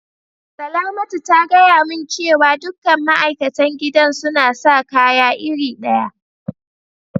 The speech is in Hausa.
Salamatu ta gaya mun cewa dukan ma'aikatan gidan suna sa kaya iri daya.